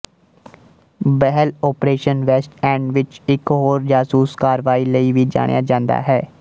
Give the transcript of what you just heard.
Behl operation west end ਵਿੱਚ ਇੱਕ ਹੋਰ ਜਾਸੂਸ ਕਾਰਵਾਈ ਲਈ ਵੀ ਜਾਣਿਆ ਜਾਂਦਾ ਹੈ